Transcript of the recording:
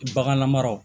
Bagan mara